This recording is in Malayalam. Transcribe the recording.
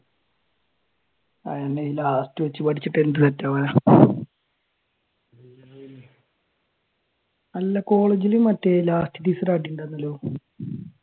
ആഹ് എന്നാ ഈ last വെച്ചുപഠിച്ചിട്ട് എന്തു സെറ്റവനാ അല്ല കോളേജിൽ മറ്റേ ആയിട്ടുണ്ടാരുന്നല്ലോ